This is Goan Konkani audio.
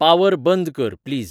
पावर बंद कर प्लीज